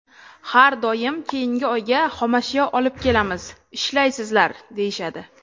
Har doim keyingi oyga xomashyo olib kelamiz, ishlaysizlar, deyishadi.